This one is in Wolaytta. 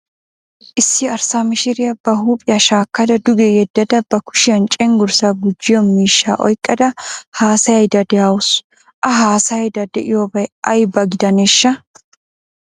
Issi arssa mishiriya ba huuphiya shaakkada duge yedada ba kushiyan cenggurssaa gujjiyo miishshaa oyqqada haasayaydda dawusu. A haasayaydda de"iyoobay aybaaba gidaneeshsha?